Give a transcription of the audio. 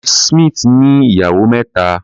Mrs. Smith ní ìyàwó mẹ́ta.